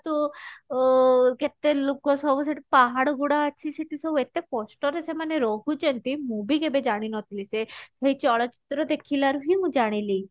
ତୁ ଅ କେତେ ଲୁକ ସବୁ ସେଠି ପାହାଡ ଗୁଡା ଅଛି ସେଠି ସବୁ ଏତେ କଷ୍ଟ ରେ ସେମାନେ ରହୁଛନ୍ତି ମୁଁ ବି କେବେ ଜାଣିନଥିଲି ସେ ଚଳଚିତ୍ର ଦେଖିଲା ରୁ ହିଁ ମୁଁ ଜାଣିଲି।